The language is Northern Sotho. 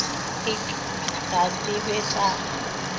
ik ga se be sa